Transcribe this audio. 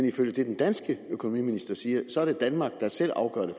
ifølge det den danske økonomiminister siger er danmark der selv afgør det